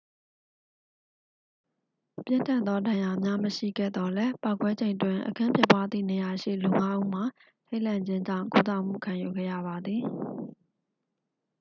ပြင်းထန်သော ဒဏ်ရာများ မရှိခဲ့သော်လည်း ပေါက်ကွဲချိန်တွင် အခင်းဖြစ်ပွားသည့်နေရာရှိ လူငါးဦးမှာ ထိတ်လန့်ခြင်းကြောင့် ကုသမှု ခံယူခဲ့ရပါသည်